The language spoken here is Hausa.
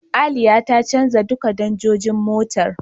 Aliya ta canja duka danjojin motar.